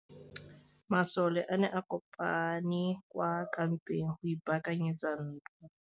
Masole a ne a kopane kwa kampeng go ipaakanyetsa ntwa.